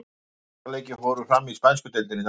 Átta leikir fóru fram í spænsku deildinni í dag.